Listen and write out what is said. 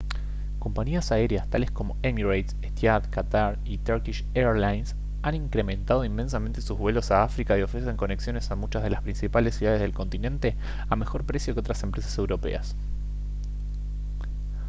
compañías aéreas tales como emirates etihad qatar y turkish airlines han incrementado inmensamente sus vuelos a áfrica y ofrecen conexiones a muchas de las principales ciudades del continente a mejor precio que otras empresas europeas